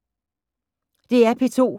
DR P2